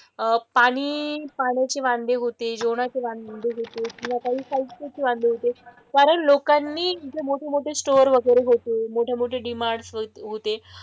अह पाणी पाण्याचे वांदे होते, जेवणाचे वांदे होते किंवा चे वांदे होते. कारण लोकांनी जे मोठेमोठे स्टोर वगैरे होते. मोठेमोठे डि-मार्ट वगैरे होते,